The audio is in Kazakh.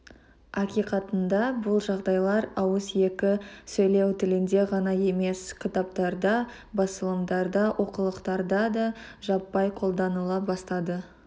ақиқатында бұл жағдайлар ауыз екі сөйлеу тілінде ғана емес кітаптарда басылымдарда оқулықтарда да жаппай қолданыла бастады